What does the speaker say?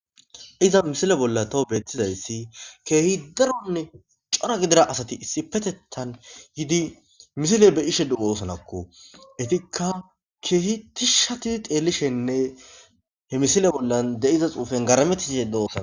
iza misile bolla tawo beettizayssi keehi daronne cora gidira asati issipetettan yidi misile be'ishe de'osanakko etikka keehi tishati xeelishenne he misile bollan de'iza xuufen garametishe doosona